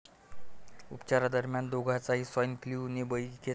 उपचारादरम्यान दोघांचाही swine flu ने बळी घेतला.